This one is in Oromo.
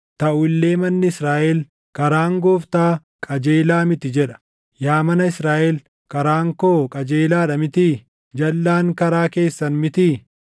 Taʼu illee manni Israaʼel, ‘Karaan Gooftaa qajeelaa miti’ jedha. Yaa mana Israaʼel, karaan koo qajeelaa dha mitii? Jalʼaan karaa keessan mitii?